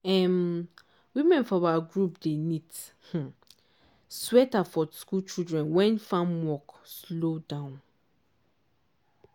um women for our group dey knit um sweater for school children wen farm work slow down.